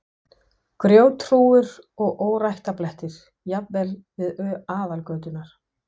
Grjóthrúgur og óræktarblettir, jafnvel við aðalgöturnar.